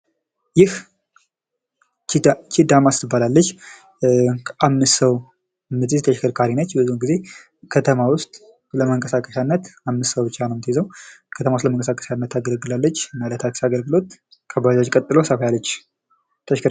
ይህ ኪዳማስ ትባላለች አምስት ሰው ምትይዝ ተሽከርካሪ ነች ብዙ ጊዜ ከተማ ውስጥ ለመንቀሳቀሻነት እምስት ሰው ብቻ ነው ምትይዘው ከተማ ውስጥ ለመንቀሳቀሻነት ታገለግላለች እና ለታክሲ አገልግሎት ከባጃጅ ቀጥሎ ሰፋ ያለች ።